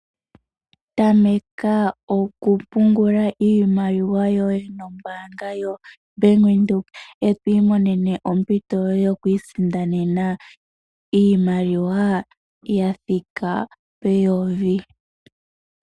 Tameka okupungula iimaliwa yoye nombaanga yoBank Windhoek e to imonene ompito yoye yokuisindanena iimaliwa ya thika pooN$ 1000.